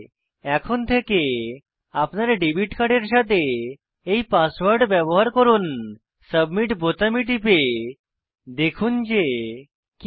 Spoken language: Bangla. এখন থেকে আপনার ডেবিট কার্ডের সাথে এই পাসওয়ার্ড ব্যবহার করুন সাবমিট বোতামে টিপে দেখুন যে কি হয়